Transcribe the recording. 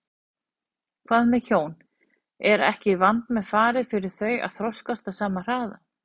Hvað með hjón, er ekki vandmeðfarið fyrir þau að þroskast á sama hraða?